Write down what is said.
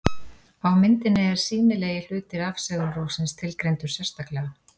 á myndinni er sýnilegi hluti rafsegulrófsins tilgreindur sérstaklega